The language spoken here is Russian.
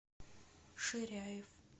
ширяев